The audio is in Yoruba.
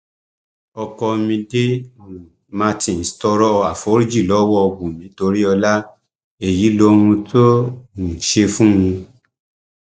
ọkọ mide um martin tọrọ àforíjì lọwọ wumi toríọlá èyí lohun tó um ṣe fún un